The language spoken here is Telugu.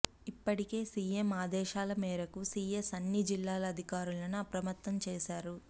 ఇప్పటికే సీఎం ఆదేశాల మేరకు సీఎస్ అన్ని జిల్లాల అధికారులను అప్రమత్తం చేశారు